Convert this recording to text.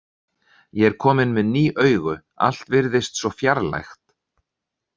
Ég er kominn með ný augu, allt virðist svo fjarlægt.